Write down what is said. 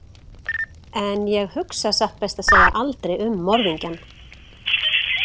En ég hugsa satt best að segja aldrei um morðingjann.